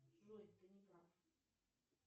джой ты не прав